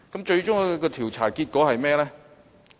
最終的調查結果是甚麼？